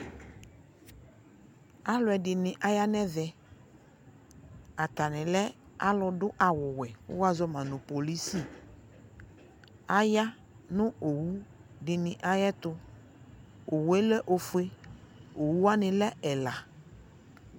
aloɛdini aya no ɛvɛ atane lɛ alodo awo wɛ ko woazɔ ma no polisi aya no owu dini ayɛto owue lɛ ofue owu wane lɛ ɛla